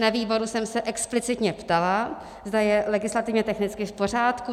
Na výboru jsem se explicitně ptala, zda je legislativně technicky v pořádku.